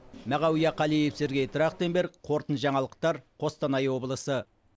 мағауия қалиев сергей трахтенберг қорытынды жаңалықтар қостанай облысы